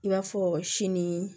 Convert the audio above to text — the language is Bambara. I b'a fɔ sini